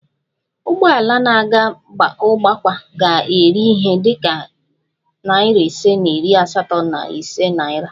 Ụgbọ ala na-aga ugbakwa ga-eri ihe dị ka nari ise na iri asatọ na ise naira